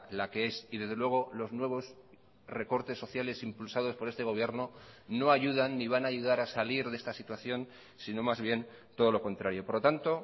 la que es y desde luego los nuevos recortes sociales impulsados por este gobierno no ayudan ni van a ayudar a salir de esta situación sino más bien todo lo contrario por lo tanto